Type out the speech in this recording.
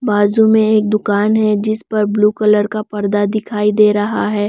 बाजू में एक दुकान है जिस पर ब्लू कलर का पर्दा दिखाई दे रहा है।